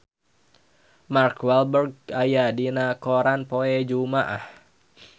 Mark Walberg aya dina koran poe Jumaah